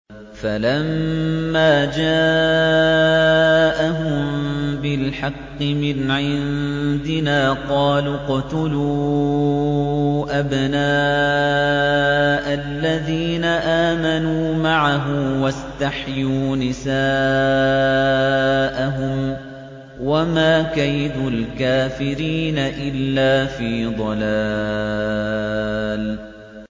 فَلَمَّا جَاءَهُم بِالْحَقِّ مِنْ عِندِنَا قَالُوا اقْتُلُوا أَبْنَاءَ الَّذِينَ آمَنُوا مَعَهُ وَاسْتَحْيُوا نِسَاءَهُمْ ۚ وَمَا كَيْدُ الْكَافِرِينَ إِلَّا فِي ضَلَالٍ